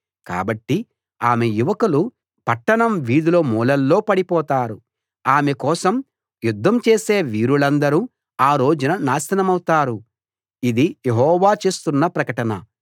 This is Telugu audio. కాబట్టి ఆమె యువకులు పట్టణం వీధుల మూలల్లో పడిపోతారు ఆమె కోసం యుద్ధం చేసే వీరులందరూ ఆ రోజున నాశనమౌతారు ఇది యెహోవా చేస్తున్న ప్రకటన